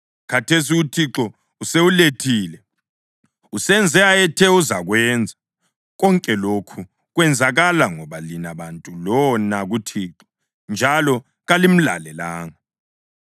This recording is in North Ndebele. Khathesi uThixo usewulethile; usenze ayethe uzakwenza. Konke lokhu kwenzakala ngoba lina bantu lona kuThixo njalo kalimlalelanga.